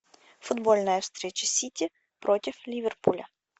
футбольная встреча сити против ливерпуля